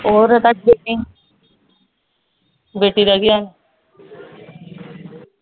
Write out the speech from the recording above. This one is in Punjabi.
ਹੋਰ ਬੇਟੀ ਰਹਿ ਗਈ ਹੁਣ